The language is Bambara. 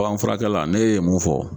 anfurakɛla n'e ye mun fɔ.